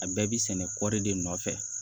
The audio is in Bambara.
A bɛɛ bi sɛnɛ kɔri de nɔfɛ